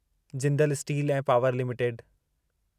Jindal steel ऐं power limited